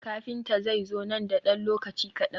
Kafinta zai zo nan da ɗan lokaci kaɗan.